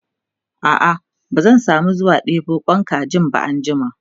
a'a ba zan samu zuwa ɗebo Kwan kajin ba anjima